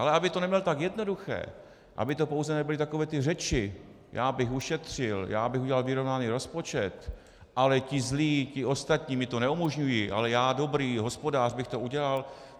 Ale aby to neměl tak jednoduché, aby to pouze nebyly takové ty řeči, já bych ušetřil, já bych udělal vyrovnaný rozpočet, ale ti zlí, ti ostatní mi to neumožňují, ale já dobrý hospodář bych to udělal.